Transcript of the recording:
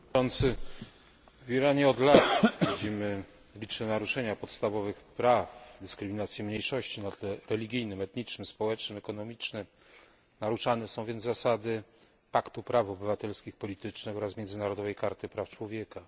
Panie Przewodniczący! W Iranie od lat widzimy liczne naruszenia podstawowych praw dyskryminacji mniejszości na tle religijnym, etnicznym, społecznym, ekonomicznym. Naruszane są więc zasady paktu praw obywatelskich politycznych oraz międzynarodowej karty praw człowieka.